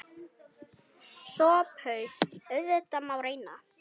SOPHUS: Auðvitað má reyna.